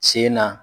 Sen na